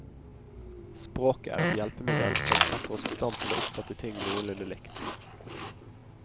Språket er et hjelpemiddelsom setter oss i stand til å oppfatte ting noenlunde likt.